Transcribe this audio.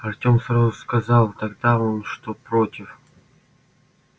артём сразу сказал тогда он что против